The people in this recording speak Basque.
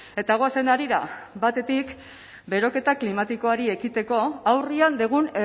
eta goazen harira batetik beroketa klimatikoari ekiteko aurrean dugun